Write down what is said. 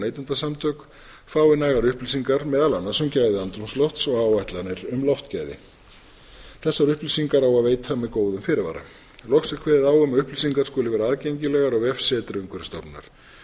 neytendasamtök fái nægar upplýsingar meðal annars um gæði andrúmslofts og áætlanir um loftgæði þessar upplýsingar á að veita með góðum fyrirvara loks er kveðið á um að upplýsingar skuli vera aðgengilegar á vefsetri umhverfisstofnunar